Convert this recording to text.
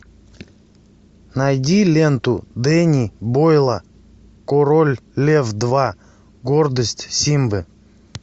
найди ленту дэнни бойла король лев два гордость симбы